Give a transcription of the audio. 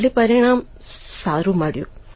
એટલે પરિણામ સારૂં મળ્યું